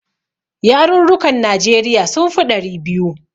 Yarurrukan Najeriya sun fi ɗari biyu.